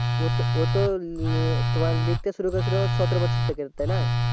ও তো ও তো তোমার লিখতে শুরু করেছিল সতেরো বছর থেকে তাইনা